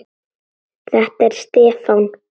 Þetta er Stefán.